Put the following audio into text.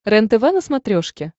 рентв на смотрешке